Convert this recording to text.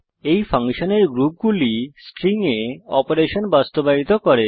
এই ফাংশনের গ্রুপগুলি স্ট্রিং এ অপারেশন বাস্তবায়িত করে